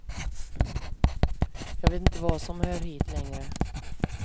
Jag vet inte vad som hör hit, längre.